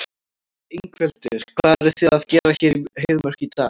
Ingveldur: Hvað eruð þið að gera hér í Heiðmörk í dag?